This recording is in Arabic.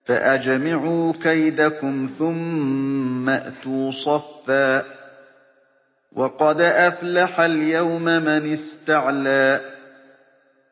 فَأَجْمِعُوا كَيْدَكُمْ ثُمَّ ائْتُوا صَفًّا ۚ وَقَدْ أَفْلَحَ الْيَوْمَ مَنِ اسْتَعْلَىٰ